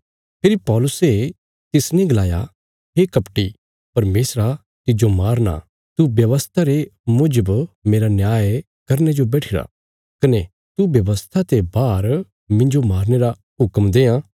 फेरी पौलुसे तिसने गलाया हे कपटी परमेशरा तिज्जो मारना तू व्यवस्था रे मुजब मेरा न्याय करने जो बैठिरा कने तू व्यवस्था ते बाहर मिन्जो मारने रा हुक्म देआं